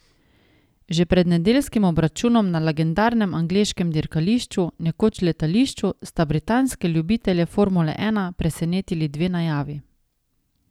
Že pred nedeljskim obračunom na legendarnem angleškem dirkališču, nekoč letališču, sta britanske ljubitelje formule ena presenetili dve najavi.